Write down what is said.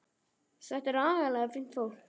Þetta er agalega fínt fólk.